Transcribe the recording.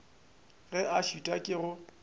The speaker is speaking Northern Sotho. ge a šitwa ke go